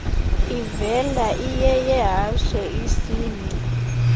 ivela iyeyehashe isingci